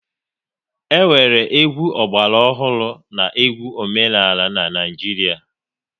E nwere egwu ọgbara ọhụrụ na egwu omenala n'Naijiria